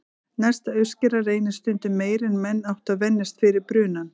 Næsta uppskera reynist stundum meiri en menn áttu að venjast fyrir brunann.